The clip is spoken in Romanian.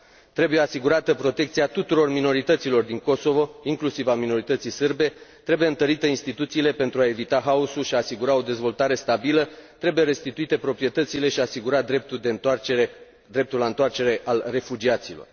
Trebuie asigurată protecția tuturor minorităților din Kosovo, inclusiv a minorității sârbe, trebuie întărite instituțiile pentru a evita haosul și a asigura o dezvoltare stabilă, trebuie restituite proprietățile și asigura dreptul la întoarcere al refugiaților.